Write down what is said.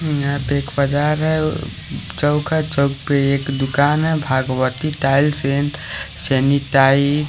यहां पे एक बाजार है चौक है चौक पे एक दुकान है भागवती टाइल्स एंड सेनिटाइज --